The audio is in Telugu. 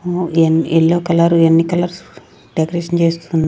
ఉమ్ ఏ ఏల్లో కలర్ ఎన్ని కలర్స్ డెకరేషన్ చేస్తున్నా--